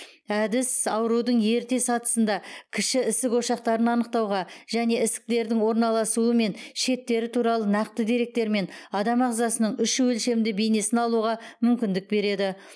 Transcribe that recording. әдіс аурудың ерте сатысында кіші ісік ошақтарын анықтауға және ісіктердің орналасуы мен шеттері туралы нақты деректермен адам ағзасының үш өлшемді бейнесін алуға мүмкіндік береді